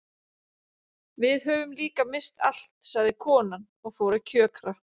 Við höfum líka misst allt sagði konan og fór að kjökra.